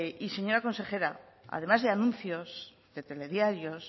y señora consejera además de anuncios de telediarios